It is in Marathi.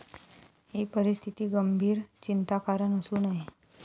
ही परिस्थिती गंभीर चिंता कारण असू नये.